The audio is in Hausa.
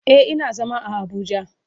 Eh, ina zama a abuja.